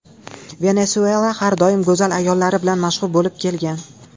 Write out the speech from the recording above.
Venesuela har doim go‘zal ayollari bilan mashhur bo‘lib kelgan.